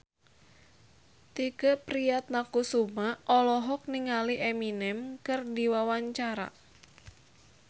Tike Priatnakusuma olohok ningali Eminem keur diwawancara